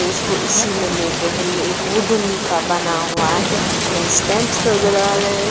इसको इसी में लेते हैं ये एक वुडन का बना हुआ है। हमें स्टंप्स नजर आ रहे है।